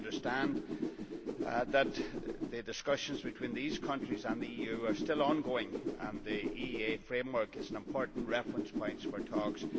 I understand that the discussions between these countries and the EU are still ongoing and that the EEA framework is an important reference point for talks.